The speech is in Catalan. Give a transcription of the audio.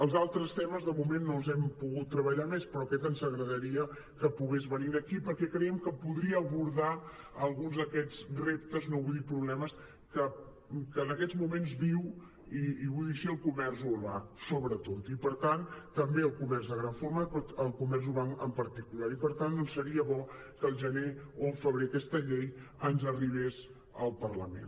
els altres temes de moment no els hem pogut treballar més però aquest ens agra·daria que pogués venir aquí perquè creiem que podria abordar alguns d’aquests reptes no vull dir problemes que en aquests moments viu i vull dir·ho així el co·merç urbà sobretot i per tant també el comerç de gran format però el comerç urbà en particular i per tant seria bo que al gener o al febrer aquesta llei ens arribés al parlament